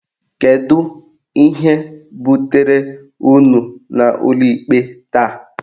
Kedu ihe butere unu n'ụlọikpe taa?